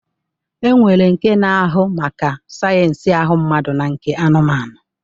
E nwere nke na-ahụ maka sayensị ahụ mmadụ na nke anụmanụ